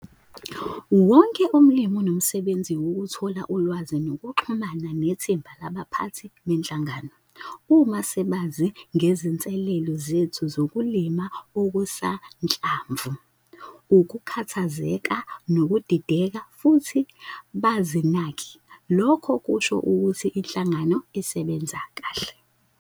Wonke umlimi unomsebenzi wokuthola ulwazi nokuxhumana nethimba labaphathi benhlangano. Uma sebazi ngezinselelo zethu zokulima okusanhlamvu, ukukhathazeka nokudideka futhi bazinake, lokho kusho ukuthi inhlangano isebenza kahle.